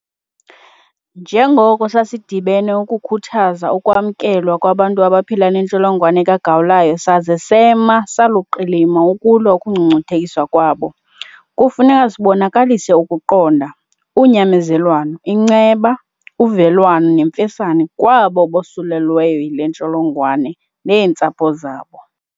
Njengoko sasidibene ukukhuthaza ukwamkelwa kwabantu abaphila neNtsholongwane kaGawulayo saze sema saluqilima ukulwa ukungcungcuthekiswa kwabo, kufuneka sibonakalise ukuqonda, unyamezelwano, inceba, uvelwano nemfesane kwabo bosulelweyo yile ntsholongwane neentsapho zabo.